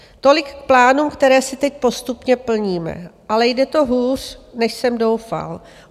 Tolik k plánům, které si teď postupně plníme, ale jde to hůř, než jsem doufal.